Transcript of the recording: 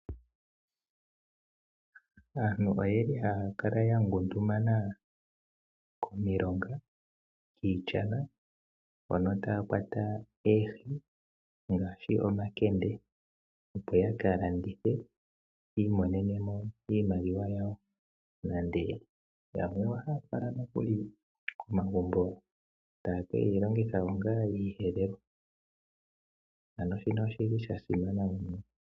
Aantu oyeli haya kala yangundumana komilonga , kiishana hono taya kwata oohi ngaashi omakende opo yaka landithe yi imonene mo iimaliwa yawo. Yamwe otaya fala ngaa komagumbo etaye ke dhilongitha onga oshiyelelwa . Ano shino oshili sha simana unene.